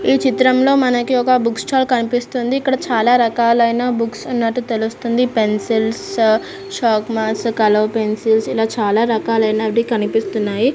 ఈ చిత్రంలో మనకి ఒక బుక్ స్టాల్ కనిపిస్తుంది ఇక్కడ చాల రకాలైన బుక్స్ ఉన్నటు తెలుస్తుంది పెన్సిల్స్ షార్పనేర్స్ కలర్ పెన్సిల్స్ ఇలా చాల రకాలైనవి కనిపిస్తున్నాయి.